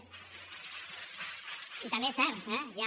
i també és cert eh